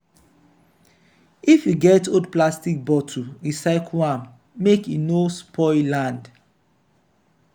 if you get old plastic bottle recycle am make e no spoil land.